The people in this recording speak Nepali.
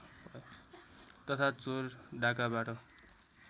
तथा चोर डाँकाबाट